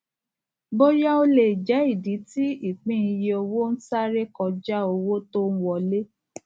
bóyá o lé jẹ ìdí tí ìpín iye owó n sáré koja owó tó n wọlé